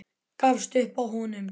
Gafst upp á honum.